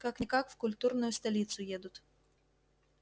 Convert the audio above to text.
как-никак в культурную столицу едут